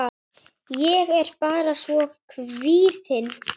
Ég er bara svo kvíðin.